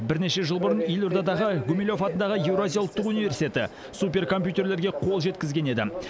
бірнеше жыл бұрын елордадағы гумилев атындағы еуразия ұлттық университеті суперкомпьютерлерге қол жеткізген еді